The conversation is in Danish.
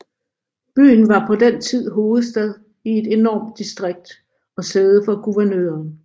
Byen var på den tid hovedstad i et enormt distrikt og sæde for guvernøren